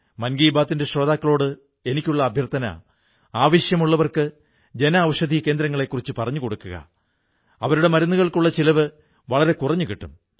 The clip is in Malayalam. മൻ കീ ബാത്തിന്റെ ശ്രോതാക്കളോട് എനിക്കുള്ള അഭ്യർഥന ആവശ്യമുള്ളവർക്ക് ജനഔഷധി കേന്ദ്രങ്ങളെക്കുറിച്ച് പറഞ്ഞുകൊടുക്കുക അവരുടെ മരുന്നിനുള്ള ചിലവ് വളരെ കുറഞ്ഞു കിട്ടും